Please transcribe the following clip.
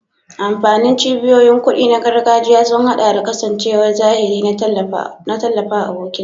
Amfanin cibiyoyin kuɗi na gargajiya sun haɗa da kasancewar zahiri don tallafawa abokin ciniki.